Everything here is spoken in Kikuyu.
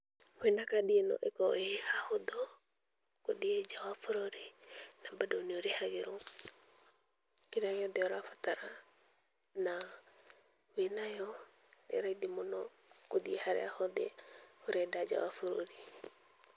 Wĩna kandi ĩno hakoragwo he hahũthũ, gũthiĩ nja wa bũrũri, na mbando nĩũrĩhagĩrwo kĩrĩa gĩothe ũrabatara, na wĩnayo, ĩraithi mũno gũthiĩ harĩa hothe ũrenda nja wa bũrũri.